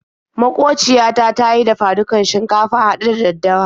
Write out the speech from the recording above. Maƙociya ta ta yi dafa-dukan shinkafa haɗe da daddawa.